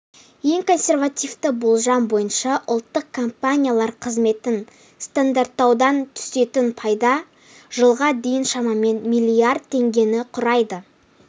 ең консервативті болжам бойынша ұлттық компаниялар қызметін стандарттаудан түсетін пайда жылға дейін шамамен миллиард теңгені құрайды